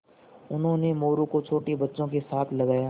उन्होंने मोरू को छोटे बच्चों के साथ लगाया